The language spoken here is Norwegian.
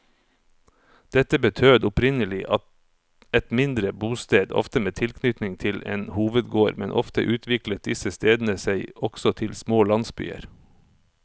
Dette betød opprinnelig et mindre bosted, ofte med tilknytning til en hovedgård, men ofte utviklet disse stedene seg også til små landsbyer.